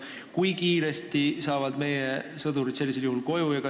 Kui kiiresti saavad meie sõdurid sellisel juhul koju?